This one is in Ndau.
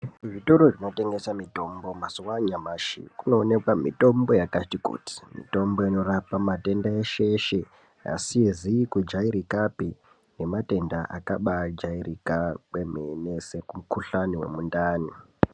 Zvitoro zvinotengese mitombo mazuwa anyamashi kunowanikwa mitombo yakati kuti mitombo inorapa madhende eshe eshe asizi kujairikapi nematenda akabajairika kwemene sekukuhlani yemundani.